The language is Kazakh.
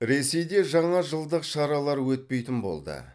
ресейде жаңа жылдық шаралар өтпейтін болды